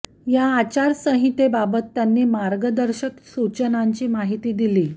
या आचार संहितेबाबत त्यांनी मार्गदर्शक सुचनांची माहिती दिली